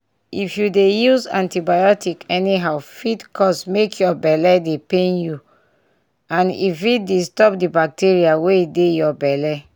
if you dey use antibiotics anyhow fit cause make your belle dey pain you and e fit disturb the bacteria wey dey your belle